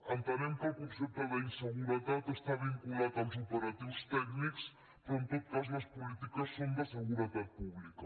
entenem que el concepte d’ inseguretat està vinculat als operatius tècnics però en tot cas les polítiques són de seguretat pública